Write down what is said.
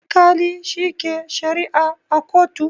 Alkali shi ke sharia a kotu